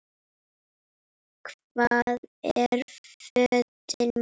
Hvar eru fötin mín?